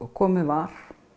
komið var